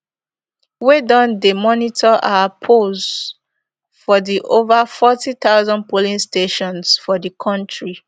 wey don dey monitor our polls for di ova forty thousand polling stations for di kontri